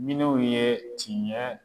Minnuw ye tiɲɛ